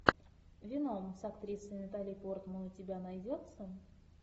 веном с актрисой натали портман у тебя найдется